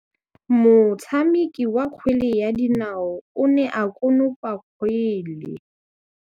Motshameki wa kgwele ya dinaô o ne a konopa kgwele.